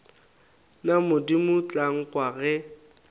na modimo tla nkwa ge